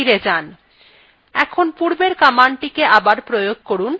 এখন পূর্বের commandটিকে আবার প্রয়োগ করুন